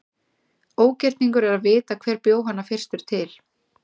Ógerningur er að vita hver bjó hana fyrstur til.